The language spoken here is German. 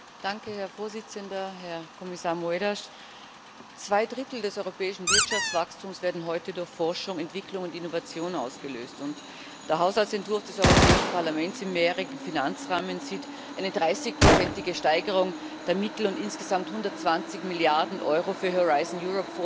Herr Präsident, Herr Kommissar Moedas! Zwei Drittel des europäischen Wirtschaftswachstums werden heute durch Forschung, Entwicklung und Innovation ausgelöst, und der Haushaltsentwurf des Europäischen Parlaments im mehrjährigen Finanzrahmen sieht eine 30 ige Steigerung der Mittel und insgesamt 120 Milliarden Euro für Horizon Europe vor.